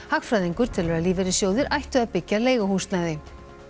hagfræðingur telur að lífeyrissjóðir ættu að byggja leiguhúsnæði